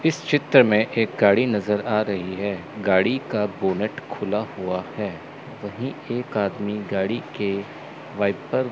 इस चित्र में एक गाड़ी नजर आ रही है गाड़ी का बोनेट खुला हुआ है वही एक आदमी गाड़ी के वाइपर --